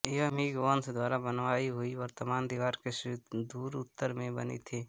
यह मिंग वंश द्वारा बनवाई हुई वर्तमान दीवार के सुदूर उत्तर में बनी थी